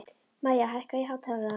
Maya, hækkaðu í hátalaranum.